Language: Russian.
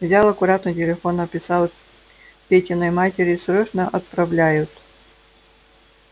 взял аккуратно телефон написал петиной матери срочно отправляют